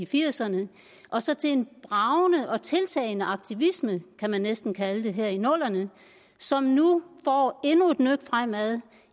firserne og så til en bragende og tiltagende aktivisme kan man næsten kalde det her i nullerne som nu får endnu et nøk fremad